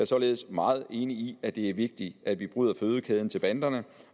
således meget enig i at det er vigtigt at vi bryder fødekæden til banderne